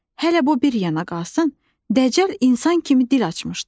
Hələ bu bir yana qalsın, Dəcəl insan kimi dil açmışdı.